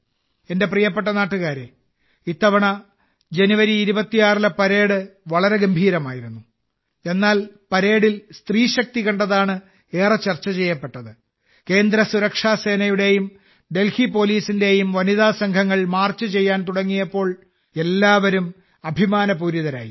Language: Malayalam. എന്റെ പ്രിയപ്പെട്ട നാട്ടുകാരേ ഇത്തവണ ജനുവരി 26ലെ പരേഡ് വളരെ ഗംഭീരമായിരുന്നു എന്നാൽ പരേഡിൽ സ്ത്രീശക്തി കണ്ടതാണ് ഏറെ ചർച്ച ചെയ്യപ്പെട്ടത് കേന്ദ്ര സുരക്ഷാ സേനയുടെയും ഡൽഹി പോലീസിന്റെയും വനിതാ സംഘങ്ങൾ മാർച്ച് ചെയ്യാൻ തുടങ്ങിയപ്പോൾ എല്ലാവരും അഭിമാനപൂരിതരായി